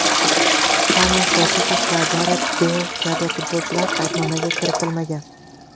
Xames Rodriges va Garet Beyl kabi futbolchilar qaydnomaga kiritilmagan.